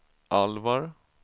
Alvar